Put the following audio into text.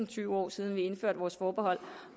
tyve år siden vi indførte vores forbehold